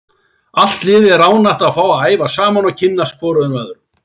Allt liðið er ánægt að fá að æfa saman og kynnast hvorum öðrum.